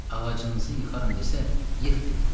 Ağacınızı yıxaram desə, yıx deyin.